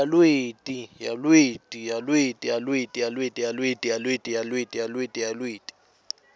yalweti